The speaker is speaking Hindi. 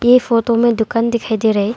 ऐ फोटो में दुकान दिखाई दे रहा है।